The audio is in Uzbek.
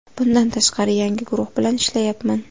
Bundan tashqari, yangi guruh bilan ishlayapman.